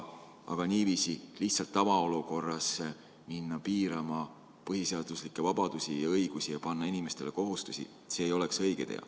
Aga niiviisi lihtsalt tavaolukorras minna piirama põhiseaduslikke vabadusi ja õigusi ja panna inimestele kohustusi – see ei oleks õige tee.